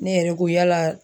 Ne yɛrɛ ko yala.